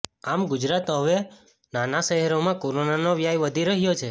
આમ ગુજરાતમાં હવે નાના શહેરોમાં કોરોનાનો વ્યાપ વધી રહ્યો છે